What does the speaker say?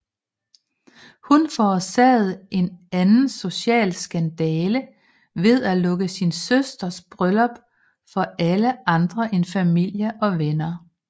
Hun forårsagede en anden social skandale ved at lukke sin søsters bryllup for alle andre end familie og venner